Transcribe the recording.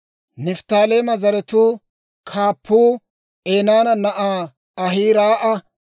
Nifttaaleema zaratuu kaappuu Enaana na'aa Ahiraa'a.